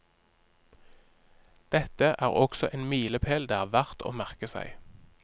Dette er også en milepel det er verdt å merke seg.